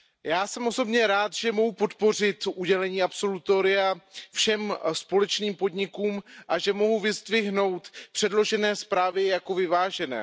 já jsme osobně rád, že mohu podpořit udělení absolutoria všem společným podnikům a že mohu vyzdvihnout předložené zprávy jako vyvážené.